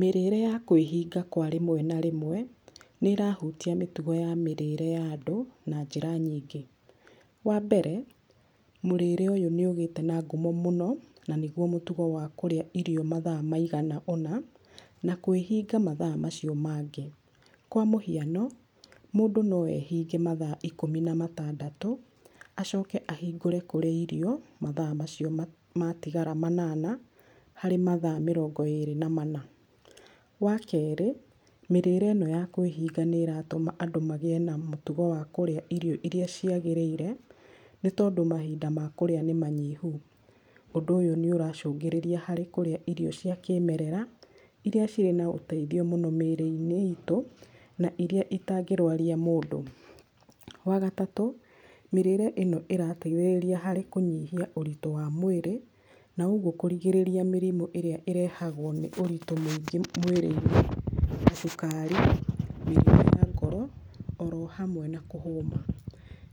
Mĩrĩre ya kwĩhinga kwa rĩmwe na rĩmwe, nĩ ĩrahutia mĩtugo ya mĩrĩre ya andũ na njĩra nyingĩ. Wa mbere mũrĩre ũyũ nĩ ũgĩte na ngumo mũno, na nĩguo mũtugo wa kũrĩa irio mathaa maigana ũna, na kwĩhinga mathaa macio mangĩ. Kwa mũhiano mũndũ no ehinge mathaa ikũmi na matandatũ acoke ahingũre kũrĩa irio mathaa macio matigara manana, harĩ mathaa mĩrongo ĩrĩ na mana. Wa kerĩ, mĩrĩre ĩno ya kwĩhinga nĩ ĩratũma andũ magĩe na mũtugo wa kũrĩa irio iria ciagĩrĩire, nĩ tondũ mahinda ma kũrĩa nĩ manyihu. Ũndũ ũyũ nĩ ũracũngĩrĩria harĩ kũrĩa irio cia kĩmerera, iria cirĩ na ũteithio mũno mĩrĩ-inĩ itũ na iria itangĩrwaria mũndũ. Wa gatatũ, mĩrĩire ĩno ĩrateithĩrĩria harĩ kũnyihia ũritũ wa mwĩrĩ, na ũguo kũrigĩrĩria mĩrimũ ĩrĩa ĩrehagwo nĩ ũritũ mũingĩ mwĩrĩinĩ ta cukari, mĩrimũ ya ngoro, oro hamwe na kũhũma.